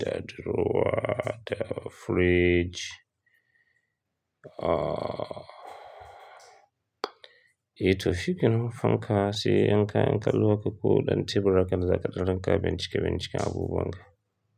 da durowa da fridge. Ah, ita mafi kyawun fanka, sai in ka, in ka lura da ko ɗan tebur da kake za ka ɗauka bincike binciken abubuwan ka.